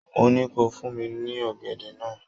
Mo ní kó fún mí ní ọ̀gẹ̀dẹ̀ náà